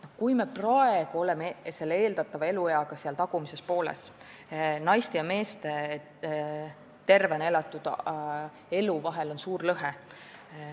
Me oleme praegu eeldatava elueaga seal tagumises pooles, naiste ja meeste tervena elatud eluaastate vahel on suur lõhe.